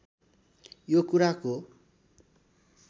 यो कुराको